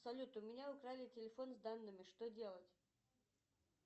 салют у меня украли телефон с данными что делать